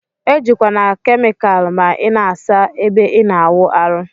Ejikwana kemikal ma ina asa ebe ina awụ arụ.